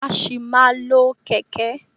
A sì máa má lo kẹ̀kẹ́.